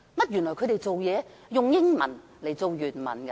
原來，他們是以英文為原文的。